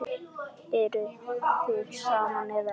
Eruð þið saman eða ekki?